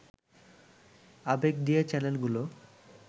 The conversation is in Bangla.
আবেগ দিয়ে চ্যানেলগুলো